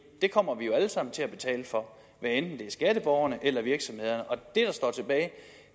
kommer vi jo alle sammen til at betale for hvad enten det er skatteborgerne eller virksomhederne